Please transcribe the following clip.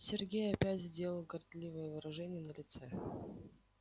сергей опять сделал горделивое выражение на лице